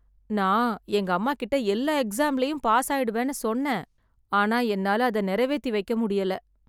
நான் எங்க அம்மாகிட்ட எல்லா எக்ஸாம்ல பாஸ் ஆயிடுவேன் ன்னு சொன்னேன் ஆனா என்னால அதை நிறைவேற்றி வைக்க முடியல